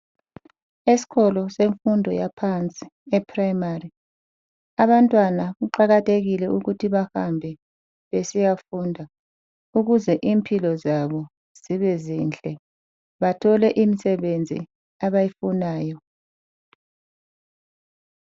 Esikolo semfundo yaphansi eprimary. Abantwana kuqakathekile ukuthi bahambe besiyafunda ukuze impilo zabo zibe zinhle bathole imisebenzi abayifunayo.